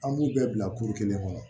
An b'u bɛɛ bila kelen kɔnɔ